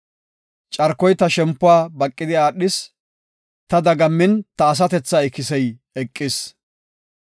Carkoy ta som7uwa baqidi aadhis; ta dagammin ta asatethaa ikisey eqis.